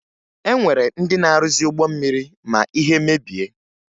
E nwere ndị na-arụzi ụgbọ mmiri ma ihe mebie